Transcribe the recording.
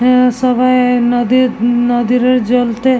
এ সবাই আ নদীর নদীর ওই জলতে--